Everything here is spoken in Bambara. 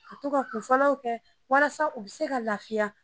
U bɛ to ka kunfɔlɔw kɛ walasa u bɛ se ka lafiya